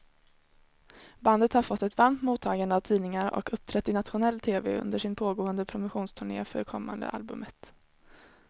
Bandet har fått ett varmt mottagande av tidningar och uppträtt i nationell tv under sin pågående promotionturné för kommande albumet.